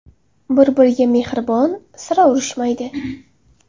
Bir-biriga mehribon, sira urushmaydi.